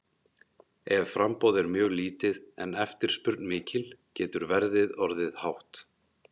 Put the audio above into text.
Ef framboð er mjög lítið en eftirspurn mikil getur verðið orðið hátt.